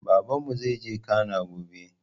Babanmu zaije cana gobe